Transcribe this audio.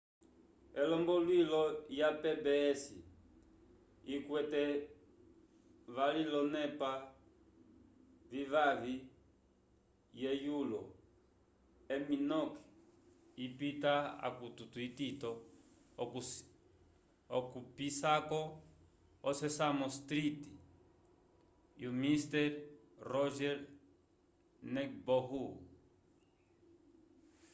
elomboluilo ya pbs yikwete vali olonepa vivavi ye yulo emmy noke ipita akukuto itito okupisako o sesame street e o mister rogers neighborho